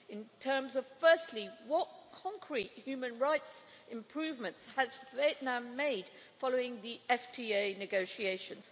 In terms of, firstly, what concrete human rights improvements has Vietnam made following the FTA negotiations?